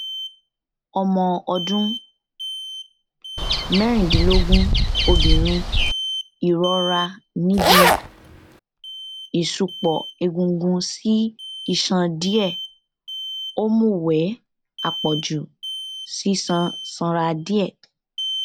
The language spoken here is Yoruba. ọmọ ọdún mẹrìndínlógún obìnrin ìrora níbi ìṣùpọ egungun sí iṣan díẹ òmùwẹ àpọjù sísan sanra díẹ